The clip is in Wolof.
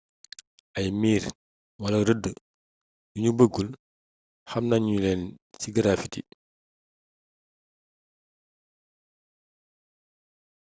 ay miir wala rëdd yu ñu bëggul xam nañuleen ci graffiti